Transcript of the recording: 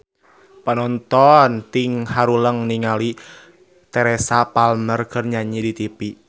Panonton ting haruleng ningali Teresa Palmer keur nyanyi di tipi